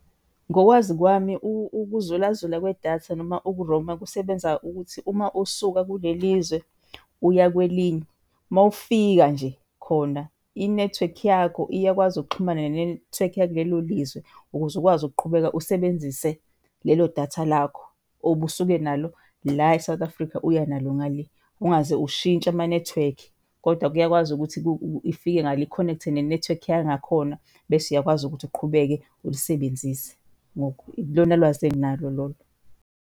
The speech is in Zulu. Ngokwazi kwami, ukuzulazula kwedatha noma uku-roam-a kusebenza ukuthi uma usuka kule lizwe uya kwelinye, mawufika nje khona inethiwekhi yakho iyakwazi ukuxhumana nenethiwekhi yakulelo lizwe ukuze ukwazi ukuqhubeka usebenzise lelo datha lakho obusuke nalo la eSouth Africa uya nalo ngale ungaze ushintshe amanethiwekhi. Kodwa kuyakwazi ukuthi ifike ngale i-connect-e nenethiwekhi yangakhona bese uyakwazi ukuthi uqhubeke ulisebenzise. Ilona lwazi enginalo lolo.